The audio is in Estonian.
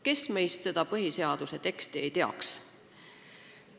Kes meist seda põhiseaduse teksti ei teaks?